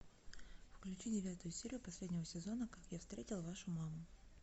включи девятую серию последнего сезона как я встретил вашу маму